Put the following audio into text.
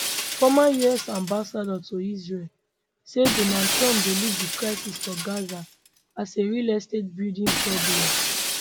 former us ambassador to israel say donald trump dey look di crisis for gaza as a real estate building problem